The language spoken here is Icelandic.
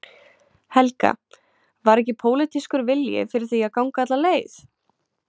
Helga: Var ekki pólitískur vilji fyrir því að ganga alla leið?